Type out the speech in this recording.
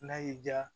N'a y'i diya